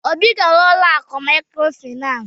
Obi gara n'ụlọ akụ mikrofinas..